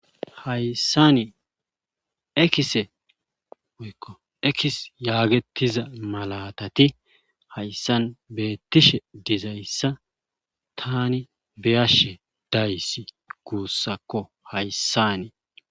hayssanii ekise wukko ekis yaagetiza malatati hayssan beettishe dizayssa tani beyashe dayssi guussakko hayssanii